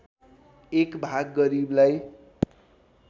एक भाग गरीबलाई